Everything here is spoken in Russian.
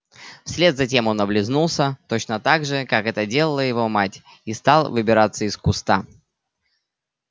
вслед за тем он облизнулся точно так же как это делала его мать и стал выбираться из куста